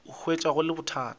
a hwetša go le bothata